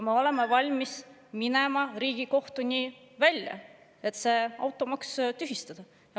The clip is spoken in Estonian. Me oleme valmis minema Riigikohtuni välja, et see automaks tühistada.